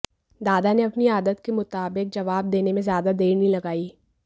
दादा ने अपनी आदत के मुताबिक जवाब देने में ज्यादा देर नहीं लगाई